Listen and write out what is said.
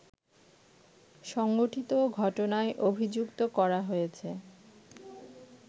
সংঘটিত ঘটনায় অভিযুক্ত করা হয়েছে